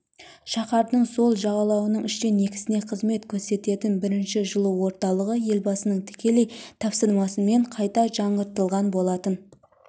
шаһардың сол жағалауының үштен екісіне қызмет көрсететін бірінші жылу орталығы елбасының тікелей тапсырмасымен қайта жаңғыртылған болатын